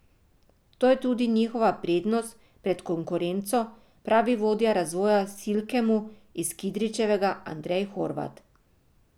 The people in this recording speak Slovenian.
To je tudi njihova prednost pred konkurenco, pravi vodja razvoja v Silkemu iz Kidričevega Andrej Horvat.